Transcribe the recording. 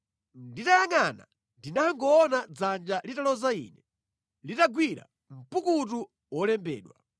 Nditayangʼana ndinangoona dzanja litaloza ine, litagwira mpukutu wolembedwa.